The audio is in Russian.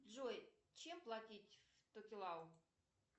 джой чем платить в токелау